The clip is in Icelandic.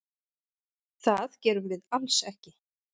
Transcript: Það gerum við alls ekki.